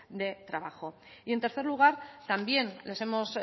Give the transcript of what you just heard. de trabajo y en tercer lugar también les hemos